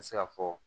N bɛ se ka fɔ